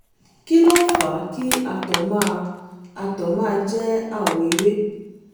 kí ló ń fà á kí àtọ̀ máa àtọ̀ máa jẹ́ àwọ̀ ewé?